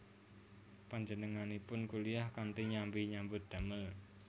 Panjenenganipun kuliyah kanthi nyambi nyambut damel